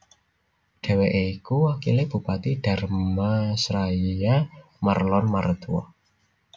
Dheweke ya iku wakile Bupati Dharmasraya Marlon Martua